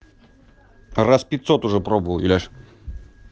раз пятьсот уже пробовал юляша